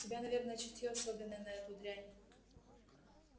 у тебя наверное чутьё особенное на эту дрянь